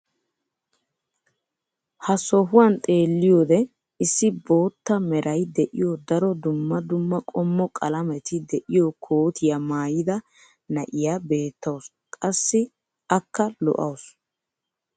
ha sohuwan xeelliyoode issi bootta meray de'iyo daro dumma dumma qommo qalametti de'iyo kootiya maayida na'iya beetawusu. qassi akka lo'awusu.